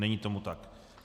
Není tomu tak.